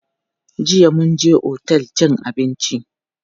Jiya mun je otel cin abinci.